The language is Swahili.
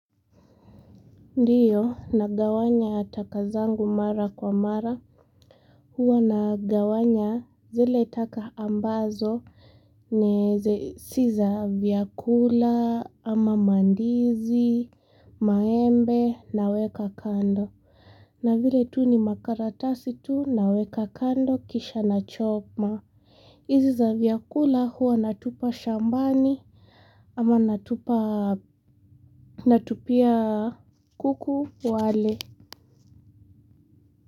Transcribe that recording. Ndiyo nagawanya matakwa zangu mara kwa mara huwa nagawanya zile taka ambazo si za vyakula ama mandizi maembe naweka kando na vile tu ni makaratasi tu naweka kando kisha na choma hizi za vyakula huwa natupa shambani ama natupa natupia kuku wale.